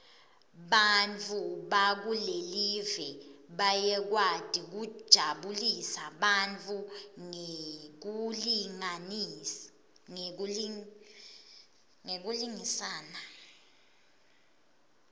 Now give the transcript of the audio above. bantfu bakulelive bayakwati kujabulisa bantfu ngekulingisana